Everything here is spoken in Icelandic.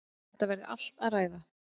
Þetta verði allt að ræða.